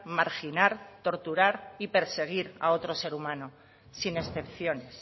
marginar torturar y perseguir a otro ser humano sin excepciones